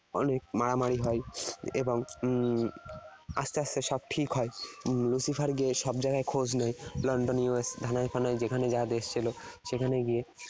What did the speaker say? অনেক মারামারি হয় এবং উম আস্তে আস্তে সব ঠিক হয়। Lucifer গিয়ে সব জায়গায় খোঁজ নেয়- London US যেখানে যা দেশ ছিল সেখানে গিয়ে